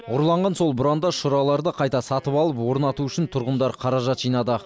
ұрланған сол бұрандаларды қайта сатып алып орнату үшін тұрғындар қаражат жинады